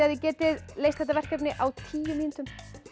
þið getið leyst þetta verkefni á tíu mínútum